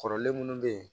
Kɔrɔlen munnu be yen